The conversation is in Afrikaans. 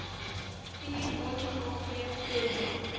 vuur atkv prosa